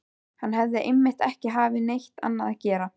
Hann hafði einmitt ekki haft neitt annað að gera.